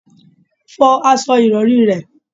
Fọ aṣọ ìrọ̀rí rẹ̀!